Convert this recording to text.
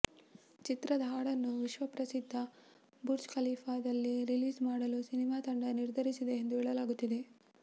ಚಿತ್ರದ ಹಾಡನ್ನು ವಿಶ್ವ ಪ್ರಸಿದ್ಧ ಬುರ್ಜ್ ಖಲೀಫಾದಲ್ಲಿ ರಿಲೀಸ್ ಮಾಡಲು ಸಿನಿಮಾತಂಡ ನಿರ್ಧರಿಸಿದೆ ಎಂದು ಹೇಳಲಾಗುತ್ತಿದೆ